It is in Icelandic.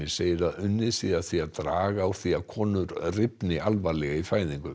segir að unnið sé að því að draga úr því að konur alvarlega í fæðingu